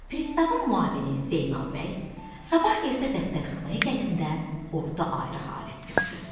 Pristavın müavini Zeynal bəy sabah ertə dəftərxanaya gələndə orda ayrı halət gördü.